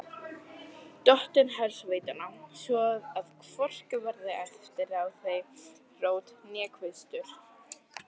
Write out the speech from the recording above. Dottinn hersveitanna, svo að hvorki verði eftir af þeim rót né kvistur.